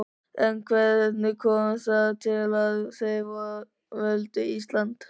En hvernig kom það til að þeir völdu Ísland?